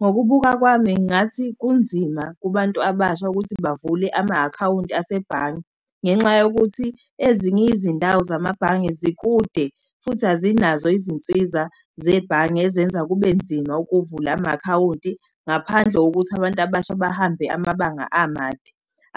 Ngokubuka kwami, ngathi kunzima kubantu abasha ukuthi bavule ama-akhawunti asebhange. Ngenxa yokuthi ezinye izindawo zamabhange zikude, futhi azinazo izinsiza zebhange ezenza kube nzima ukuvula ama-akhawunti ngaphandle wokuthi abantu abasha bahambe amabanga amade.